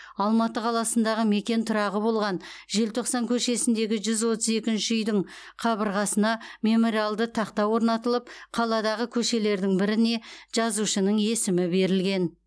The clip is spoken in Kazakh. алматы қаласындағы мекен тұрағы болған желтоқсан көшесіндегі жүз отыз екінші үйдің қабырғасына мемориалды тақта орнатылып қаладағы көшелердің біріне жазушының есімі берілген